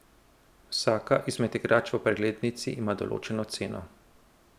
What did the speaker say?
Vsaka izmed igrač v preglednici ima določeno ceno.